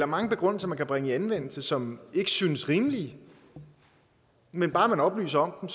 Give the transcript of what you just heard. mange begrundelser man kan bringe i anvendelse som ikke synes rimelige men bare man oplyser om